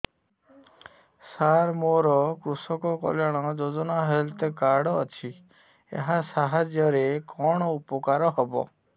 ସାର ମୋର କୃଷକ କଲ୍ୟାଣ ଯୋଜନା ହେଲ୍ଥ କାର୍ଡ ଅଛି ଏହା ସାହାଯ୍ୟ ରେ କଣ ଉପକାର ହବ